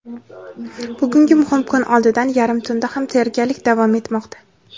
Bugungi muhim kun oldidan yarim tunda ham tayyorgarlik davom etmoqda.